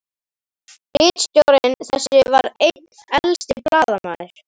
Ritstjóri þess var einn elsti blaðamaður